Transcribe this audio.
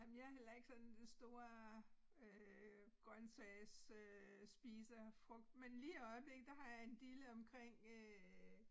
Ej men jeg heller ikke sådan den store øh grøntsagsspiser frugt men lige i øjeblikket der har jeg en dille omkring øh